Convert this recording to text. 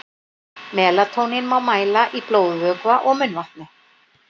Melatónín má mæla í blóðvökva og munnvatni.